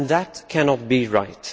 That cannot be right.